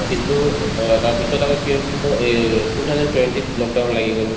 কিন্তু অ ধৰা তাৰপিছত আকৌ কি হল কোনোবা এই two thousand twenty ত lockdown লাগি গল